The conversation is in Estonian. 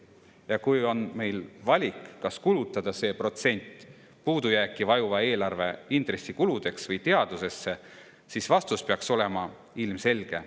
Ja kui meil on valik, kas kulutada see protsent puudujääki vajuva eelarve intressikuludeks või teadusesse, siis vastus peaks olema ilmselge.